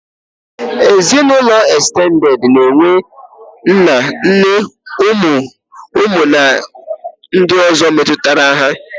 Ezinaụlọ ekstended na-enwe nna, nne, ụmụ na ndị ọ̀zọ́ metụtara ha.